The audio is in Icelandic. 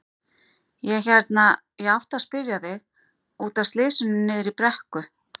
Ég hérna. ég átti að spyrja þig. út af slysinu niðri í brekku.